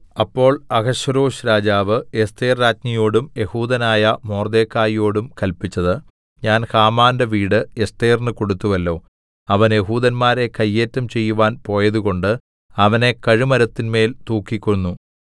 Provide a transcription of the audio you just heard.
അപ്പോൾ അഹശ്വേരോശ്‌ രാജാവ് എസ്ഥേർരാജ്ഞിയോടും യെഹൂദനായ മൊർദെഖായിയോടും കല്പിച്ചത് ഞാൻ ഹാമാന്റെ വീട് എസ്ഥേറിന് കൊടുത്തുവല്ലോ അവൻ യെഹൂദന്മാരെ കയ്യേറ്റം ചെയ്യുവാൻ പോയതുകൊണ്ട് അവനെ കഴുമരത്തിന്മേൽ തൂക്കിക്കൊന്നു